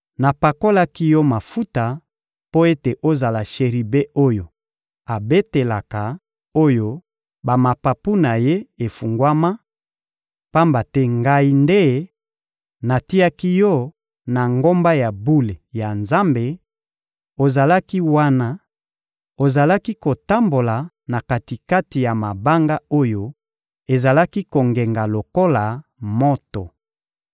Napakolaki yo mafuta mpo ete ozala Sheribe oyo abatelaka, oyo mapapu na ye efungwama; pamba te Ngai nde natiaki yo na ngomba ya bule ya Nzambe; ozalaki wana, ozalaki kotambola na kati-kati ya mabanga oyo ezalaki kongenga lokola moto.